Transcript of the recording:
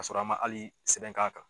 Ka sɔrɔ an man hali sɛbɛn k'a kan.